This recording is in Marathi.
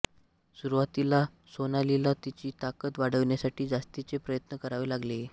सुरुवातीला सोनालीला तिची ताकद वाढवण्यासाठी जास्तीचे प्रयत्न करावे लागले